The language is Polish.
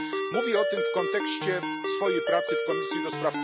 Mówię o tym w kontekście swojej pracy w Komisji ds.